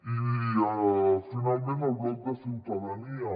i finalment el bloc de ciutadania